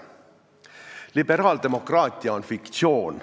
Liberaaldemokraatia on fiktsioon.